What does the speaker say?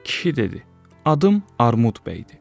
Kişi dedi: Adım Armud bəydir.